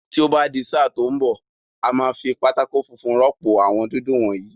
Tí ó bá di sáà tí ń bọ̀, a máa fi pátákó funfun rọ́pò àwọn dúdú wọ̀nyìí.